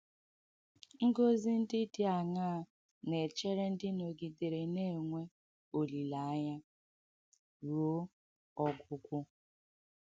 Ngọ́zị ndị dī àṅaa na-èchērē ndị nọ̀gidērē na-enwē ọlīléanya ruo ọ́gwụ̀gwụ?